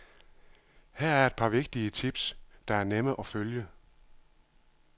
Her er et par vigtige tips, der er nemme at følge.